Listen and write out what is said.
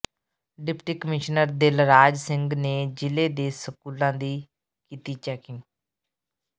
deputy commissioner Dilraj Singh ਨੇ ਜ਼ਿਲ੍ਹੇ ਦੇ ਸਕੂਲਾਂ ਦੀ ਕੀਤੀ ਚੈਕਿੰਗ